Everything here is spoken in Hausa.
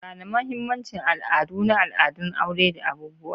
Gane mahimmancin al'adu na al'adun aure da abubuwa.